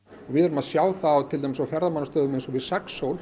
við erum að sjá það til dæmis á ferðamannastöðum eins og við